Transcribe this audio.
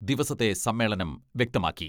ദിവസത്തെ സമ്മേളനം വ്യക്തമാക്കി.